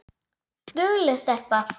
Dugleg stelpa